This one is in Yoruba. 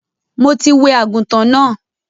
Mo ti wẹ àgùntàn náà.